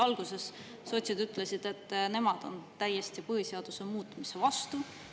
Alguses sotsid ütlesid, et nemad on täiesti põhiseaduse muutmise vastu.